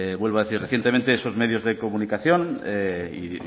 vuelvo a decir recientemente esos medios de comunicación y